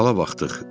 Sala baxdıq.